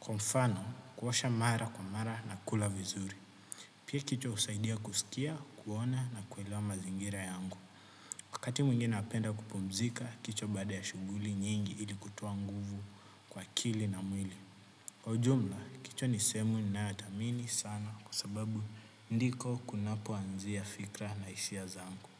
Kwa mfano, kuosha mara kwa mara na kula vizuri. Pia kichwa usaidia kusikia, kuona na kuelewa mazingira yangu. Wakati mwengine napenda kupumzika, kichwa baada ya shuguli nyingi ili kutoa nguvu kwa akili na mwili. Kwa ujumla, kicho nisemu nayotamini sana kwa sababu ndiko kunapoanzia fikra na isia zangu.